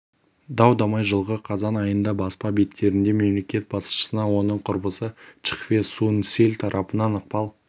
дау-дамай жылғы қазан айында баспа беттерінде мемлекет басшысына оның құрбысы чхве сун силь тарапынан ықпал